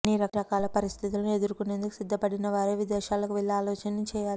అన్ని రకాల పరిస్థితులను ఎదుర్కునేందుకు సిద్ధపడినవారే విదేశాలకు వెళ్లే ఆలోచన చేయాలి